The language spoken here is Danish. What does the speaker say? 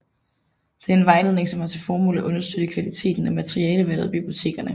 Det er en vejledning som har til formål at understøtte kvaliteten af materialevalget i bibliotekerne